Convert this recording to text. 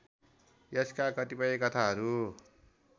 यसका कतिपय कथाहरू